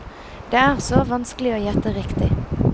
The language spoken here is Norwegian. Det er så vanskelig å gjette riktig.